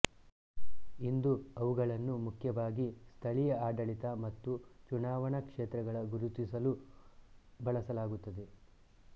ಇಂದು ಅವುಗಳನ್ನು ಮುಖ್ಯವಾಗಿ ಸ್ಥಳೀಯ ಆಡಳಿತ ಮತ್ತು ಚುನಾವಣಾ ಕ್ಷೇತ್ರಗಳ ಗುರುತಿಸಲು ಬಳಸಲಾಗುತ್ತದೆ